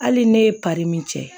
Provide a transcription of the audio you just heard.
Hali ne ye min kɛ